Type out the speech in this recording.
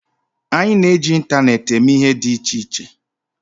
Anyị na-eji ịntaneetị eme ihe dị iche iche